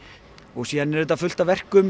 síðan er auðvitað fullt af verkum